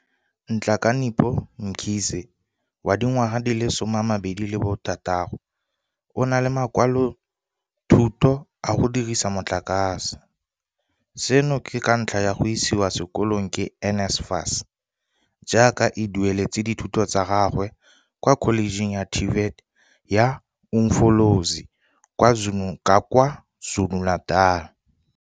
Nhlakanipho Mkhize, wa dingwaga di le 26, o na le makwalothuto a go dira ka motlakase, seno ke ka ntlha ya go isiwa sekolong ke NSFAS, jaaka e dueletse dithuto tsa gagwe kwa Kholejeng ya TVET ya Umfolozi kwa KwaZulu-Natal.